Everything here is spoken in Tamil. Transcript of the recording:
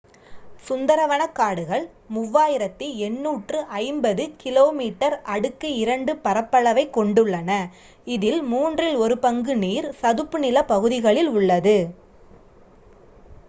சுந்தரவனக்காடுகள் 3,850 km² பரப்பளவைக் கொண்டுள்ளன இதில் மூன்றில் ஒரு பங்கு நீர் / சதுப்பு நிலப்பகுதிகளில் உள்ளது